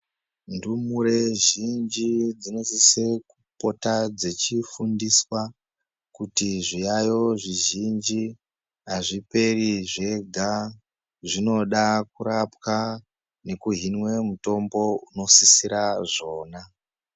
Ndumure zhinji dzinosise kupota dzechifundiswa kuti zviyaeyo zvizhinji azviperi zvega zvinoda kurapwa nekuhinwe mutombo unosisira zvona.